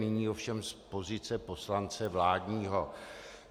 Nyní ovšem z pozice poslance vládního.